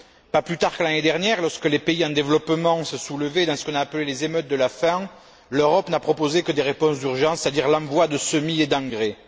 Pas plus tard que l'année dernière, lorsque les pays en développement se soulevaient dans ce qu'on a appelé les émeutes de la faim l'Europe n'a proposé que des réponses d'urgence, c'est à dire l'envoi de semis et d'engrais.